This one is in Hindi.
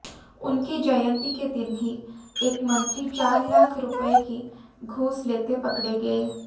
उनकी जयंती के दिन ही एक मंत्री चार लाख रुपए की घूस लेते पकड़े गए